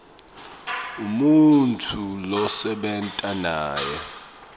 umuntfu losebenta naye